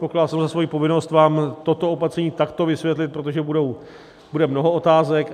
Pokládal jsem za svoji povinnost vám toto opatření takto vysvětlit, protože bude mnoho otázek.